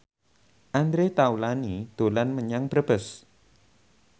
Andre Taulany dolan menyang Brebes